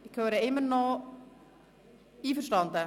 Ich höre immer noch Einwände.